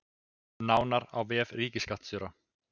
Nánar á vef ríkisskattstjóra